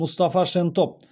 мұстафа шентоп